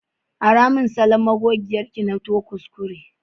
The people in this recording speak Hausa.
Ara min magogiyar ki, na to kuskure.